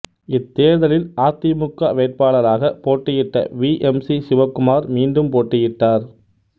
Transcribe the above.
இத்தேர்தலில் அதிமுக வேட்பாளராகப் போட்டியிட்ட வி எம் சி சிவகுமார் மீண்டும் போட்டியிட்டார்